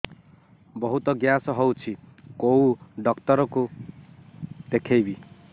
ବହୁତ ଗ୍ୟାସ ହଉଛି କୋଉ ଡକ୍ଟର କୁ ଦେଖେଇବି